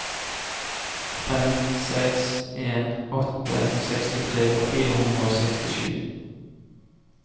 fem seks en åtte sekstitre fire hundre og sekstisju